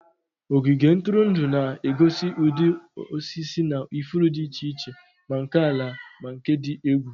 Ogige ntụrụndụ na-egosi ụdị osisi na ifuru dị iche iche, ma nke ala ma nke dị egwu.